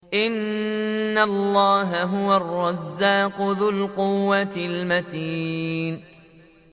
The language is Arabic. إِنَّ اللَّهَ هُوَ الرَّزَّاقُ ذُو الْقُوَّةِ الْمَتِينُ